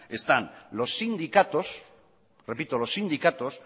están los sindicatos repito los sindicatos